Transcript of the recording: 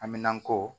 Aminanko